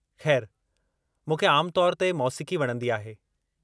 खै़रु, मूंखे आम तौर ते मौसीक़ी वणंदी आहे।